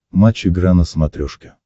матч игра на смотрешке